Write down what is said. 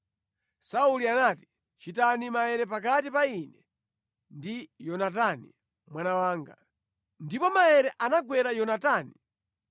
Sauli anati, “Chitani maere pakati pa ine ndi Yonatani mwana wanga.” Ndipo maere anagwera Yonatani.